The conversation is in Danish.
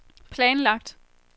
planlagt